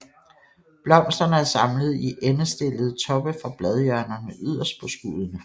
Blomsterne er samlet i endestillede toppe fra bladhjørnerne yderst på skuddene